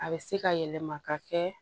A bɛ se ka yɛlɛma ka kɛ